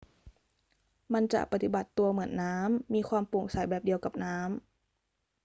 มันจะปฏิบัติตัวเหมือนน้ำ มีความโปร่งใสแบบเดียวกับน้ำ